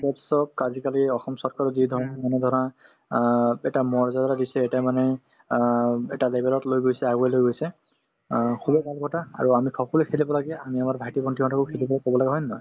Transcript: sports ক আজিকালি অসম চৰকাৰৰ যিধৰণৰ মানে ধৰা অ এটা মৰ্যদা দিছে এটা মানে অ এটা level ত লৈ গৈছে আগুৱাই লৈ গৈছে অ খুবেই ভাল কথা আৰু আমি সকলোয়ে খেলিব লাগে আমি আমাৰ ভাইটি-ভণ্টিহঁতকো খেলিব কব লাগে হয় নে নহয়